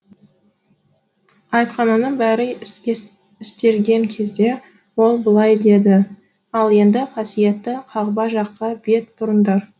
айтқанының бәрі істелген кезде ол былай деді ал енді қасиетті қағба жаққа бет бұрыңдар